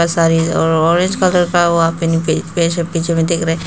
सारे और orange colour का वहां पर दिख रहा है।